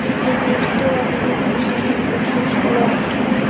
Ég er búinn að skila þeim aftur sagði drengurinn þrjóskulega.